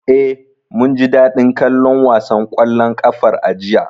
Eh, mun ji daɗin kallon wasan ƙwallon ƙafar a jiya.